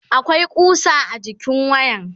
akwai kusa a jikin wayan